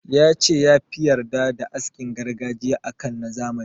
Ya ce ya fi yarda da askin gargajiya a kan na zamani.